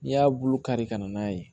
N'i y'a bulu kari ka na n'a ye